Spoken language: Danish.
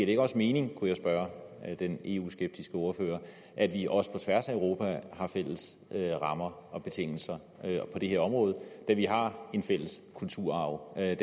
ikke også mening kunne jeg spørge den eu skeptiske ordfører at vi også på tværs af europa har fælles rammer og betingelser på det her område da vi har en fælles kulturarv da